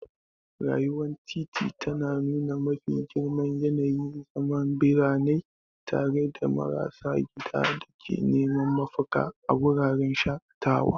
Rayuwar titi tana nuna mafi girman yanayin zaman birane, tare da marasa gida da ke neman mafaka a wuraren shakatawa.